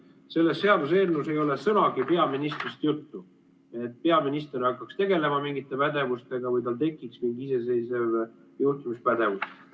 Selles seaduseelnõus ei ole sõnagi peaministrist juttu, et peaminister hakkaks tegelema mingite pädevustega või tal tekiks mingi iseseisev juhtimispädevus.